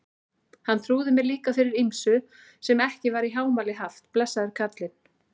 Hann trúði mér líka fyrir ýmsu sem ekki var í hámæli haft, blessaður kallinn.